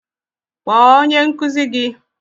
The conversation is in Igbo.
kpọọ onye nkụzi gi!